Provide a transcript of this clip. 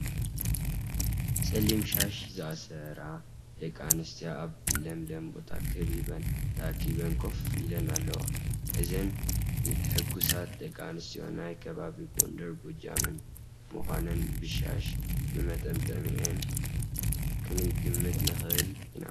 ፀሊም ሻሽ ዝኣሰራ ደቂ ኣንስትዮ ኣብ ለምለም ቦታ ከቢበን ተኣኪበን ኮፍ ኢለን ኣለዋ፡፡ እዘን ሕጉሳት ደቂ ኣንስትዮ ናይ ከባቢ ጐንደርን ጐጃምን ምዃነን ብሻሽ መጠምጠሚአን ክንግምት ንኽእል ኢና፡፡